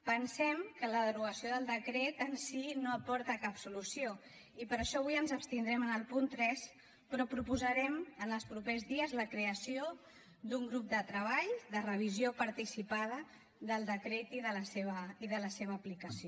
pensem que la derogació del decret en si no aporta cap solució i per això avui ens abstindrem en el punt tres però proposarem en els propers dies la creació d’un grup de treball de revisió participada del decret i de la seva aplicació